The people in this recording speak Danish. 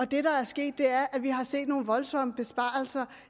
det der er sket er at vi har set nogle voldsomme besparelser